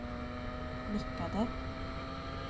nickade